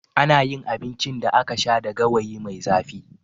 Ana yin abincin da aka sha da gawayi mai zafi.